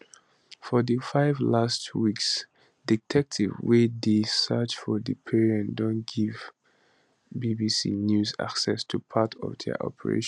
for di last five weeks detectives wey dey search for di parents don give don give bbc news access to part of dia operation